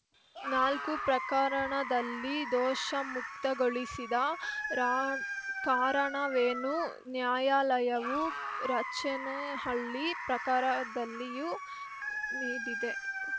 ನಾಲ್ಕು ಪ್ರಕರಣದಲ್ಲಿ ದೋಷಮುಕ್ತಗೊಳಿಸಿದ ರಾಣ್ ಕಾರಣವೇನೂ ನ್ಯಾಯಾಲಯವು ರಚೇನಹಳ್ಳಿ ಪ್ರಕರದಲ್ಲಿಯೂ ನೀಡಿದೆ